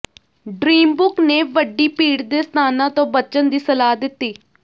dreambook ਨੇ ਵੱਡੀ ਭੀੜ ਦੇ ਸਥਾਨਾਂ ਤੋਂ ਬਚਣ ਦੀ ਸਲਾਹ ਦਿੱਤੀ